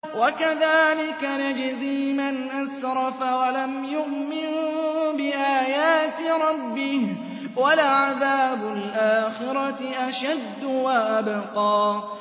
وَكَذَٰلِكَ نَجْزِي مَنْ أَسْرَفَ وَلَمْ يُؤْمِن بِآيَاتِ رَبِّهِ ۚ وَلَعَذَابُ الْآخِرَةِ أَشَدُّ وَأَبْقَىٰ